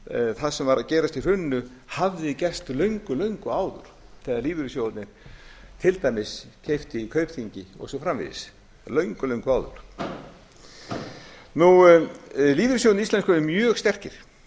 það sem var að gerast í hruninu hafði gerst löngu löngu áður þegar lífeyrissjóðirnir til dæmis keyptu í kaupþingi og svo framvegis löngu löngu áður lífeyrissjóðirnir íslensku eru mjög sterkir